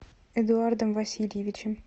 эдуардом васильевичем